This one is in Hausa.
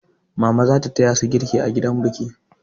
Mama za ta taya su girki a gidan biki.